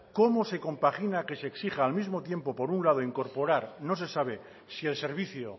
cómo se compagina que se exija al mismo tiempo por un lado incorporar no se sabe si el servicio